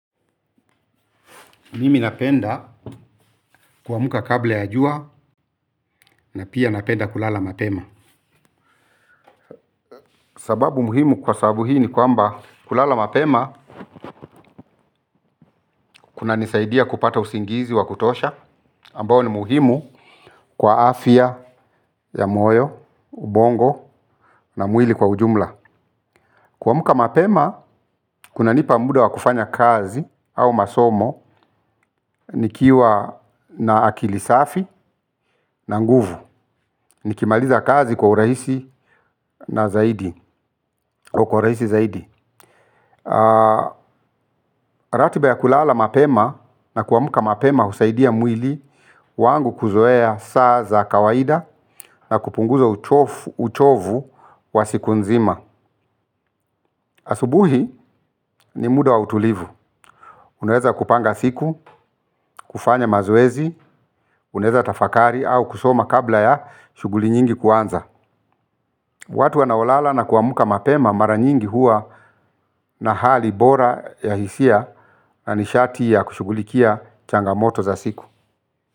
Mimi napenda kuamka kabla ya jua na pia napenda kulala mapema. Sababu muhimu kwa sababu hii ni kwamba kulala mapema kunanisaidia kupata usingizi wa kutosha ambao ni muhimu kwa afya ya moyo, ubongo na mwili kwa ujumla. Kwamka mapema kunanipa muda wa kufanya kazi au masomo nikiwa na akili safi na nguvu. Nikimaliza kazi kwa urahisi na zaidi, kwa urahisi zaidi. Ratiba ya kulala mapema na kuamka mapema husaidia mwili wangu kuzoea saa za kawaida na kupunguza uchovu wa siku nzima. Asubuhi ni muda wa utulivu. Unaweza kupanga siku, kufanya mazuezi, unaweza tafakari au kusoma kabla ya shughuli nyingi kuanza. Watu wanaolala na kuamka mapema mara nyingi huwa na hali bora ya hisia. Na nishati ya kushughulikia changamoto za siku. Kwa hivyo.